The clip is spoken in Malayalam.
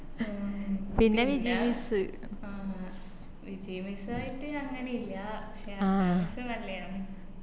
പിന്നെ വിജയ് miss വിജയ് miss അങ്ങനെ ഇല്ല പക്ഷെ miss നല്ലേയാന്ന്